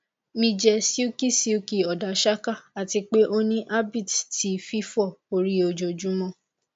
mi jẹ silky silky odasaka ati pe o ni habbit ti fifọ ori ojoojumọ